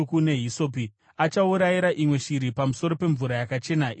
Achaurayira imwe shiri pamusoro pemvura yakachena iri muhari yevhu.